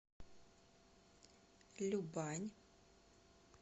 любань